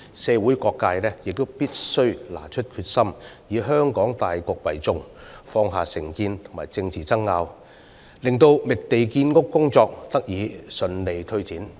社會各界必須展示決心，以香港大局為重，放下成見和政治爭拗，令覓地建屋工作得以順利推展。